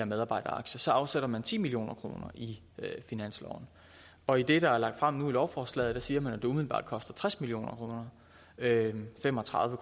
medarbejderaktier afsætter man ti million kroner i finansloven og i det der er lagt frem nu i lovforslaget siger man at det umiddelbart koster tres million kroner fem og tredive